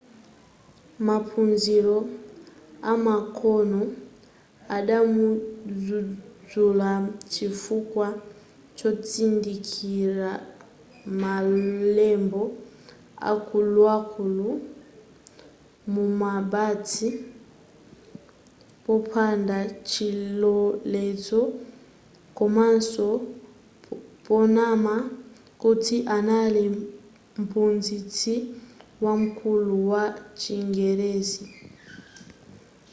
maphunziro amakono adamudzuzula chifukwa chotsindikiza malembo akuluakulu mumabasi popanda chilolezo komaso ponama kuti anali mphunzitsi wamkulu wa chingerezi